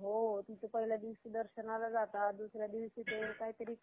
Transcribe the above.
Lockdown चे तीन अं step होतात. तीन लाटा lockdown